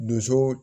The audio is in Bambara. Donso